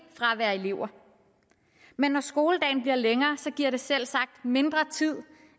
fra at være elever men når skoledagen bliver længere giver det selvsagt mindre tid